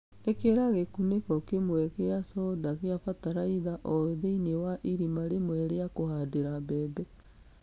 Ĩkĩra gĩkunĩko kĩmwe gĩa conda gĩa bataraitha o thĩiniĩ wa irima rĩmwe rĩa kũhandĩra mbembe.